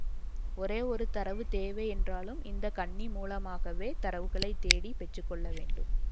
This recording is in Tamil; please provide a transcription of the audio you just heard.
ஒரே ஒரு தரவு தேவை என்றாலும் இந்த கண்ணி மூலமாகவே தரவுகளைத்தேடி பெற்று கொள்ள வேண்டும்